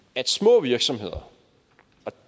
at små virksomheder